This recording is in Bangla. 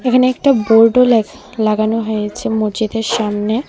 এখানে একটা বোর্ডও ল্যক লাগানো হয়েছে মসজিদের সামনে.